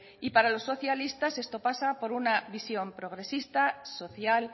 y para los socialistas esto pasa por una visión progresista social